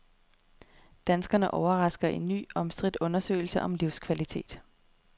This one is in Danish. Danskerne overrasker i ny, omstridt undersøgelse om livskvalitet.